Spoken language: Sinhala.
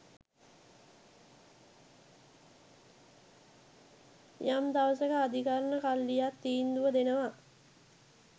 යම් දවසක අධිකරන කල්ලියක් තීන්දුව දෙනවා.